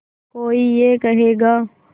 कोई ये कहेगा